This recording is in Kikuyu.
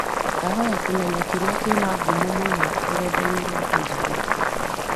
ndahoya kũmenya kĩrĩa kĩna ngũmo mũno rũredainĩ rwa Facebook